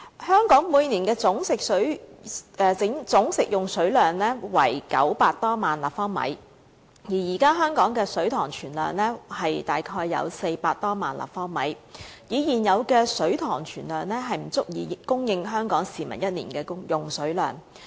香港每年的總食水用量為900多萬立方米，而現時香港的水塘存水量約為400多萬立方米，以現有的水塘存量，根本不足以供應香港市民一年用水所需。